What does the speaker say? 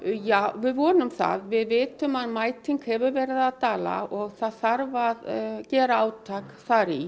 við vonum það við vitum að mæting hefur verið að dala og það þarf að gera átak þar í